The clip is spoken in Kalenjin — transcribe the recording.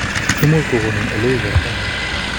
Imuch kokonin Ole uu bortongung?